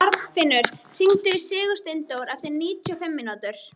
Arnfinnur, hringdu í Sigursteindór eftir níutíu og fimm mínútur.